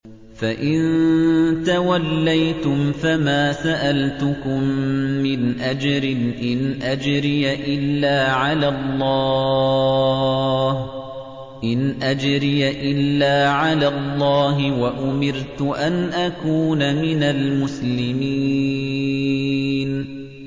فَإِن تَوَلَّيْتُمْ فَمَا سَأَلْتُكُم مِّنْ أَجْرٍ ۖ إِنْ أَجْرِيَ إِلَّا عَلَى اللَّهِ ۖ وَأُمِرْتُ أَنْ أَكُونَ مِنَ الْمُسْلِمِينَ